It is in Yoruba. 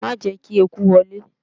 Ma jẹ́ ​​kí eku wọlé!